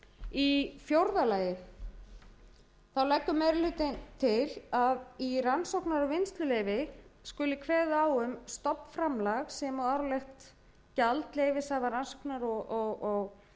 í fjórða lagi leggur meiri hlutinn til að í rannsóknar og vinnsluleyfi skuli kveðið á um stofnframlag sem og árlegt gjald leyfishafa rannsóknar og